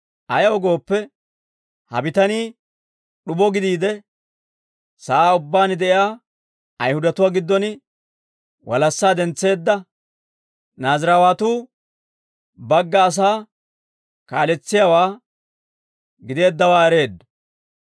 Ayaw gooppe, ha bitanii d'ubo gidiide, sa'aa ubbaan de'iyaa Ayihudatuwaa giddon walassaa dentseedda, Naaziraawatu bagga asaa kaaletsiyaawaa gideeddawaa ereeddo.